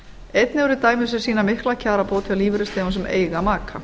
einnig eru dæmi sem sýna mikla kjarabót hjá lífeyrisþegum sem eiga maka